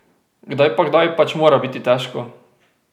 Kdaj pa kdaj pač mora biti težko!